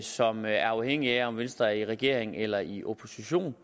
som er afhængigt af om venstre er i regering eller i opposition